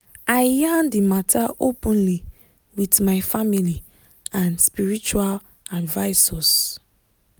i yarn d matter openly with my family and spiritual advisors.